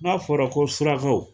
N'a fɔra ko surakaw